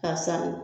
K'a san